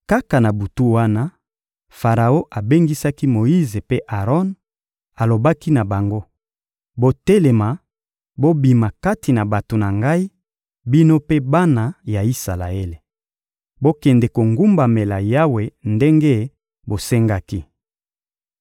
Kaka na butu wana, Faraon abengisaki Moyize mpe Aron, alobaki na bango: «Botelema, bobima kati na bato na ngai, bino mpe bana ya Isalaele. Bokende kogumbamela Yawe ndenge bosengaki.